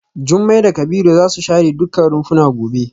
Jumai da Kabiru za su share dukkan rumfuna gobe.